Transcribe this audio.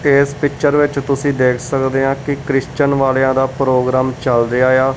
ਇਸ ਪਿਕਚਰ ਵਿਚ ਤੁਸੀਂ ਦੇਖ ਸਕਦੇ ਆ ਕੀ ਕ੍ਰਿਸਚਨ ਵਾਲਿਆਂ ਦਾ ਪ੍ਰੋਗਰਾਮ ਚੱਲ ਰਿਹਾ ਆ।